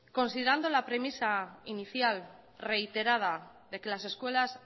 considerando la premisa inicial reiterada de que las escuelas